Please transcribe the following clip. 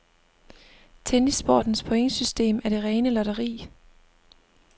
Tennissportens pointsystem er det rene lotteri.